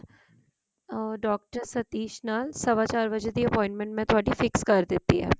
ਓਰ doctor Satish ਨਾਲ ਸਵਾ ਚਾਰ ਵਜੇ ਦੀ appointment ਮੈਂ fix ਕਰ ਦਿੱਤੀ ਹੈ